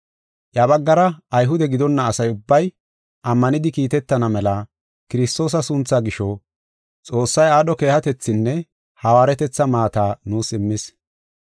Iya baggara Ayhude gidonna asa ubbay, ammanidi kiitetana mela Kiristoosa sunthaa gisho, Xoossay aadho keehatethinne hawaaretetha maata nuus immis.